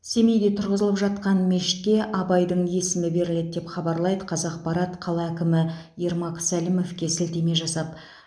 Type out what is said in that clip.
семейде тұрғызылып жатқан мешітке абайдың есімі беріледі деп хабарлайды қазақпарат қала әкімі ермак сәлімовке сілтеме жасап